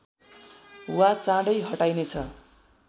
वा चाँडै हटाइनेछ